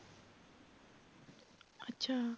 ਅੱਛਾ